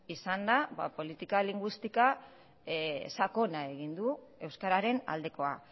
izan da politika linguistika sakona egin du euskararen aldekoa